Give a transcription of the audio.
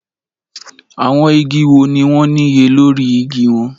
Àwọn igi wo ni wọ́n níye lórí igi wọn?